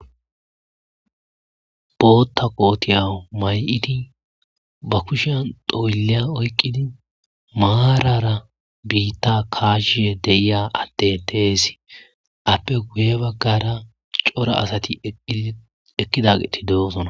bootta kootiya may7idi ba kushan doylleya oyqqidi maarara biitta kaashishe deiya atte teesi appe guye baggara cora asati iekkidageti de'osona